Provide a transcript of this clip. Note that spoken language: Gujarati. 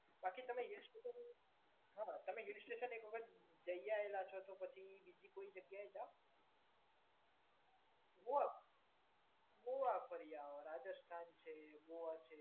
બાકી કોઈ ઇસ્યુ નથી. તમે હિલસ્ટેશન એક વખત જય આવેલા હો તો પછી બીજી કોઈ જગ્યાએ જાવ. મહુવા, મહુવા ફરી આવો, રાજસ્થાન ફરી આવો. રાજસ્થાન છે, ગોઆ છે.